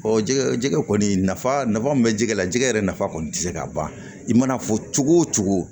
jɛgɛ jɛgɛ kɔni nafa min bɛ jɛgɛ la jɛgɛ yɛrɛ nafa kɔni tɛ se ka ban i mana fɔ cogo o cogo